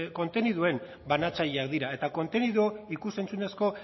konteniduen banatzaileak dira eta konteniduak ikus entzunezko